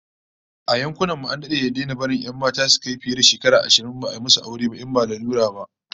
A yankunan mu an dade da daina barin 'yan mata su kai shekaru fiye da ashirin ba a musu aure ba in ba lalura ba